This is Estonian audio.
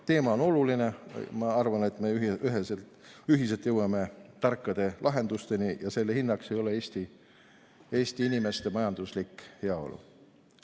Teema on oluline ja ma arvan, et me ühiselt jõuame tarkade lahendusteni ja selle hinnaks ei ole Eesti inimeste majanduslik heaolu.